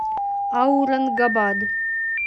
аурангабад